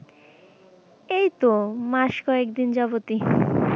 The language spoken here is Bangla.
এইতো মাস কয়েকদিন যাবদ ই